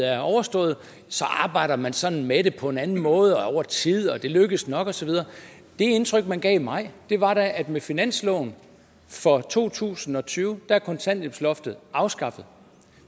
er overstået arbejder man sådan med det på en anden måde og over tid og det lykkes nok og så videre det indtryk man gav i maj var da at med finansloven for to tusind og tyve er kontanthjælpsloftet afskaffet